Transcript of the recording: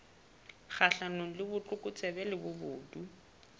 kgahlanong le botlokotsebe le bobodu